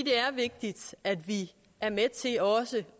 er vigtigt at vi er med til også